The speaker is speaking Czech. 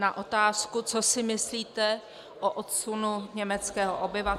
Na otázku "Co si myslíte o odsunu německého obyvatelstva?" -